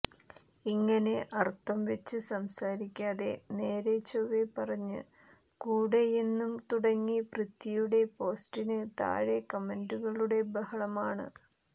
ഇങ്ങനെ അര്ത്ഥം വെച്ച് സംസാരിക്കാതെ നേരെ ചെവ്വേ പറഞ്ഞ് കൂടേയെന്നും തുടങ്ങി പൃഥ്വിയുടെ പോസ്റ്റിന് താഴെ കമന്റുകളുടെ ബഹളമാണ്